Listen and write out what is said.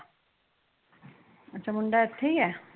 ਅੱਛਾ ਮੁੰਡਾ ਇਥੇ ਈ ਏ